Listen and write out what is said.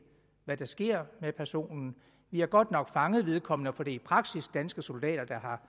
hvad der sker med personen vi har godt nok fanget vedkommende for det er i praksis danske soldater der har